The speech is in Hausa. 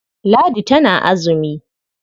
Ladi tana azumi.